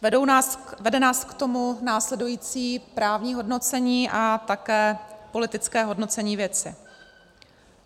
Vede nás k tomu následující právní hodnocení a také politické hodnocení věci.